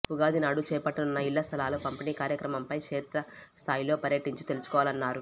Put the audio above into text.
ఉగాది నాడు చేపట్టనున్న ఇళ్లస్థలాల పంపిణీ కార్యక్రమంపై క్షేత్రస్థాయిలో పర్యటించి తెలుసుకోవాలన్నారు